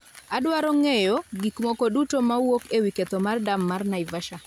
Adwaro ng'eyo gik moko duto mawuok ewi ketho mar dam mar Naivasha